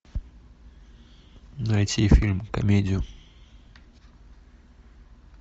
найти фильм комедию